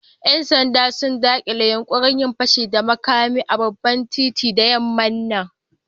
Yan sanda sun dakile yunkurin yin fashi da makami a babban kanti da yamman nan.